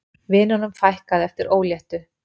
Vinunum fækkaði eftir óléttu